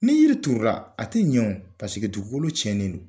Ni yiri turu la a tɛ ɲɛw paseke dugukolo tiɲɛnen don